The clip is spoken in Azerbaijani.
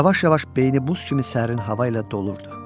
Yavaş-yavaş beyni buz kimi sərin hava ilə dolurdu.